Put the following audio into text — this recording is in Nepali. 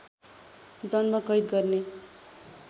जन्म कैद गर्ने